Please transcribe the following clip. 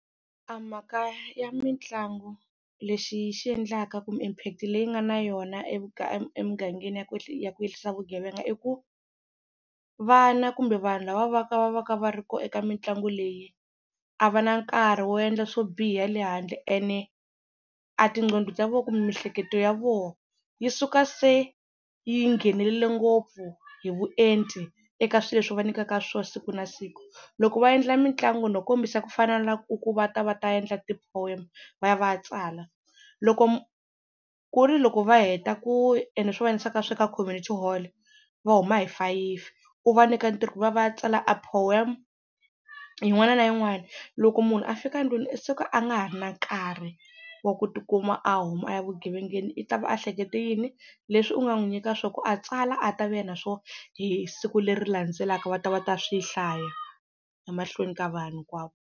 Mhaka ya mitlangu lexi xi endlaka kumbe impact leyi nga na yona emugangeni ya ku ya ku yehlisa vugevenga i ku vana kumbe vanhu lava va ka va va ka va ri kona eka mitlangu leyi a va na nkarhi wo endla swo biha lehandle ene a tinqondo ta voho kumbe miehleketo ya voho yi suka se yi nghenelerile ngopfu hi vuenti eka swilo leswi va nyikaka swosiku na siku. Loko va endla mitlangu no kombisa ku fana na ku u ku va ta va ta endla ti-poem va ya va ya tsala loko ku ri loko va heta ku ene swi va ka community hall va huma hi fayifi u va nyika ntirho ku va ya va ya tsala a poem yin'wana na yin'wana, loko munhu a fika ndlwini u suka a nga ha ri na nkarhi wa ku tikuma a huma a ya vugevengeni i ta va ehlekete yini? Leswi u nga n'wi nyika swo ku a tsala a ta vuya na swona hi siku leri landzelaka va ta va ta swi hlaya emahlweni ka vanhu hinkwavo.